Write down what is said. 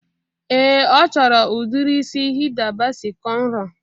Ee, ọ chọrọ udiri isi Hida Basi kọnro